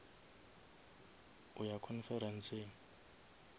o ya conferenceng